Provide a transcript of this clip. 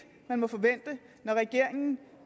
man må forvente når regeringen